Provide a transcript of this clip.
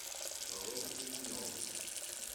володе плетневу